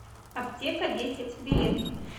аптека десять билет